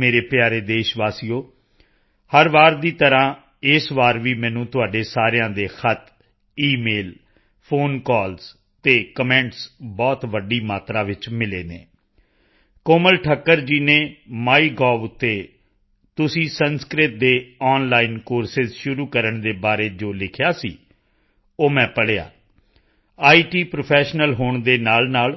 ਮੇਰੇ ਪਿਆਰੇ ਦੇਸ਼ ਵਾਸੀਓ ਹਰ ਵਾਰ ਦੀ ਤਰ੍ਹਾਂ ਇਸ ਵਾਰ ਵੀ ਮੈਨੂੰ ਤੁਹਾਡੇ ਸਾਰਿਆਂ ਦੇ ਖ਼ਤ ਈਮੇਲ ਫੋਨਕਾਲ ਅਤੇ ਕਮੈਂਟਸ ਬਹੁਤ ਵੱਡੀ ਮਾਤਰਾ ਵਿੱਚ ਮਿਲੇ ਹਨ ਕੋਮਲ ਠੱਕਰ ਜੀ ਨੇ ਮਾਈਗੋਵਤੇ ਤੁਸੀਂ ਸੰਸਕ੍ਰਿਤ ਦੇ ਆਨਲਾਈਨ ਕੋਰਸਿਸ ਸ਼ੁਰੂ ਕਰਨ ਦੇ ਬਾਰੇ ਜੋ ਲਿਖਿਆ ਸੀ ਉਹ ਮੈਂ ਪੜ੍ਹਿਆ ਇਤ ਪ੍ਰੋਫੈਸ਼ਨਲ ਹੋਣ ਦੇ ਨਾਲਨਾਲ